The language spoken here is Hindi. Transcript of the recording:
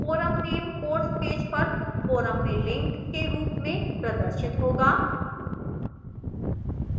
forum name course पेज पर forum में link के रूप में प्रदर्शित होगा